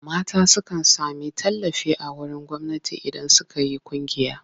Mata sukan sami tallafi a wurin gwamnati idan suka yi ƙungiya.